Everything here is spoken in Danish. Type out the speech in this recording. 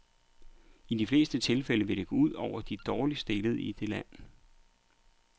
I de fleste tilfælde vil det gå ud over de dårligt stillede i det land.